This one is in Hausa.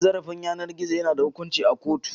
Cin zarafin yanar gizo yana da hukunci a kotu.